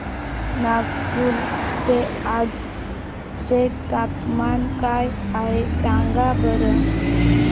नागपूर चे आज चे तापमान काय आहे सांगा बरं